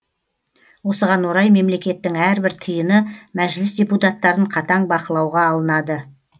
осыған орай мемлекеттің әрбір тиыны мәжіліс депутаттарын қатаң бақылауға алынады